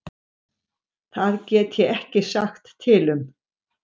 Það get ég ekki sagt til um.